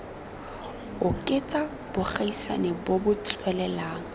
oketsa bogaisani bo bo tswelelang